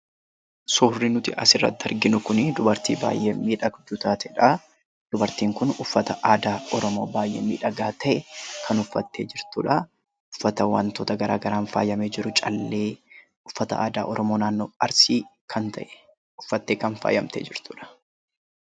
Suurri nuti asirratti arginu kun dubartii baay'ee miidhagduu taatedha. Dubartiin kunnuffata aadaa Oromoo baay'ee miidhagaa ta'e kan uffattee jirtudha. Uffata wantoota gara garaan faayamee jiru, callee, uffata aadaa Oromoo naannoo Arsii kan ta’e uffattee faayamtee kan jirtudha.